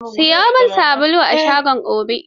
Siyo min sabulu a shagon Obi.